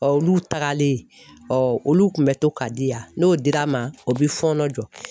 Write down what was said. olu tagalen, ɔ olu kun bɛ to ka di yan, n'o dira n ma o bɛ fɔɔnɔ jɔ.